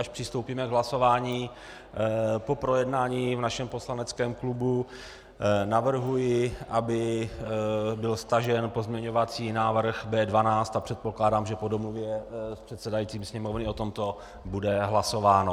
Až přistoupíme k hlasování po projednání v našem poslaneckém klubu, navrhuji, aby byl stažen pozměňovací návrh B12, a předpokládám, že po domluvě s předsedajícím Sněmovny o tomto bude hlasováno.